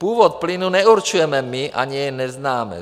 Původ plynu neurčujeme my, ani jej neznáme.